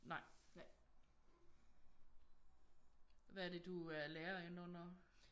Nej hvad er det du er lærer ind under?